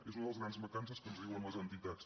és una de les grans mancances que ens diuen les entitats